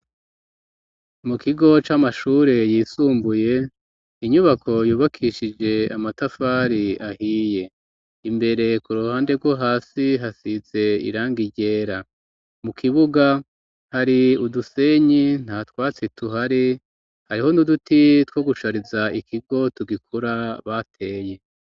Mu kigo c'amashure yisumbuye inyubako yubakishije amatafari ahiye imbere ku ruhande rwo hasi hasize irangi ryera mu kibuga hari udusenyi nta twatsi tuhari hariho n'uduti two gushariza ikigo tugikura bateye.